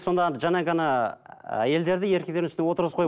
сонда жаңа ғана әйелдерді еркектердің үстіне отырғызып қойып